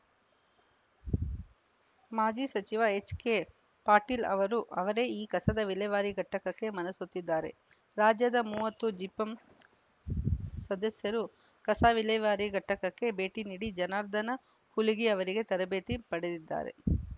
ಮಾಜಿ ಸಚಿವ ಎಚ್‌ಕೆಪಾಟೀಲ್‌ ಅವರು ಅವರೇ ಈ ಕಸ ವಿಲೇವಾರಿ ಘಟಕಕ್ಕೆ ಮನಸೋತಿದ್ದಾರೆ ರಾಜ್ಯದ ಮೂವತ್ತು ಜಿಪಂ ಸದಸ್ಯರು ಕಸ ವಿಲೇವಾರಿ ಘಟಕಕ್ಕೆ ಭೇಟಿ ನೀಡಿ ಜನಾರ್ದನ ಹುಲಿಗಿ ಅವರಿಗೆ ತರಬೇತಿ ಪಡೆದಿದ್ದಾರೆ